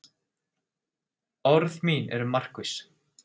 Orð mín eru markviss.